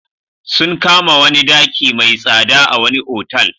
Sun kama wani daki mai tsada a wani otal.